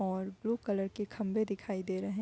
और blue colour के खम्बे दिखाई दे रहें।